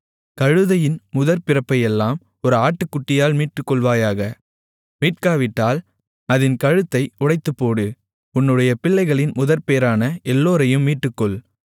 கழுதையின் முதற்பிறப்பையெல்லாம் ஒரு ஆட்டுக்குட்டியால் மீட்டுக்கொள்வாயாக மீட்காவிட்டால் அதின் கழுத்தை உடைத்துப்போடு உன்னுடைய பிள்ளைகளில் முதற்பேறான எல்லோரையும் மீட்டுக்கொள்